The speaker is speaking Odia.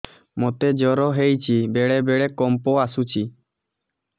ମୋତେ ଜ୍ୱର ହେଇଚି ବେଳେ ବେଳେ କମ୍ପ ଆସୁଛି